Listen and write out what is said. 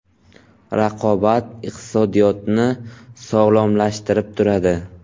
Raqobat iqtisodiyotni sog‘lomlashtirib turadi.